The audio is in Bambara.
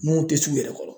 Mun tɛ t'u yɛrɛ kɔrɔ